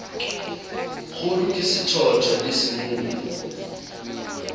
kgudu ke sethoto le semumu